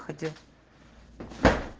входи